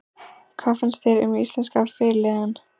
Hvað fannst þér um íslenska fyrirliðann?